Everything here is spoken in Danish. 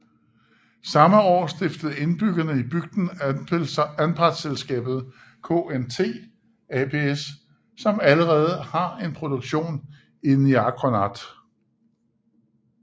Samme år stiftede indbyggerne i bygden anpartselskabet KNT Aps som allerede har en produktion i Niaqornat